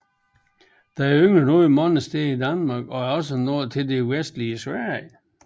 Den yngler nu mange steder i Danmark og er også nået det vestlige Sverige